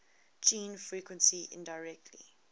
gene frequency indirectly